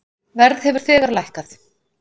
Verð hefur þegar lækkað.